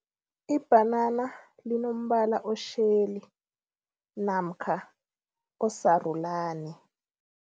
Ibhanana linombala otjheli namkha osarulani.